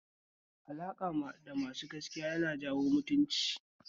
Alaƙa da masu gaskiya yan jawo mutunci